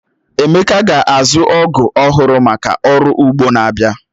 Emeka ga-azu ọgú ọhụrụ maka ọrụ ugbo n'abia